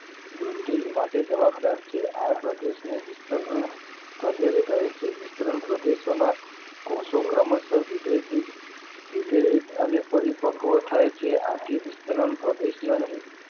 વૃદ્ધિ માટે જવાબદાર છે આ પ્રદેશ ને વિસ્તરણ માં પ્રદેશ કહે છે વિસ્તરણ પ્રદેશ ના કોષો ક્રમશ વિભેજીત અને પરિપક્વ થાય છે આથી વિસ્તરણ પ્રદેશ ને